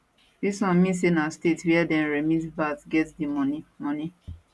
dis one mean say na state wia dem remit vat get di money money